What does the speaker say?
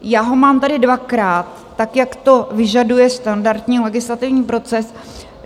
Já ho mám tady dvakrát, tak jak to vyžaduje standardní legislativní proces.